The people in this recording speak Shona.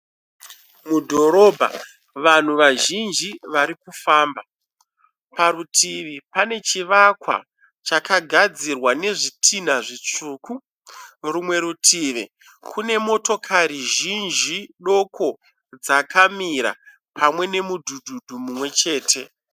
mudhorobha vanhu vazhinji varikufamba, parutivi pane chivakwa chakagadzirwa nezvitinha zvitsvuku. Rumwe rutivi kune motokari zhinji doko dzakamira pamwe nemudhudhudhu mumwechete